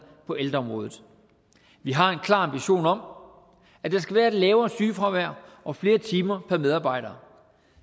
på ældreområdet vi har en klar ambition om at der skal være et lavere sygefravær og flere timer per medarbejder